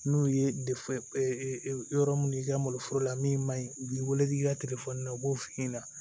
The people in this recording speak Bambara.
N'u ye yɔrɔ min i ka malo foro la min man ɲi u b'i wele k'i ka u b'o f'i ɲɛna